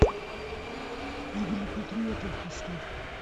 игры патриотов поставь